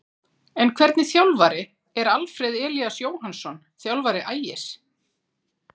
En hvernig þjálfari er Alfreð Elías Jóhannsson, þjálfari Ægis?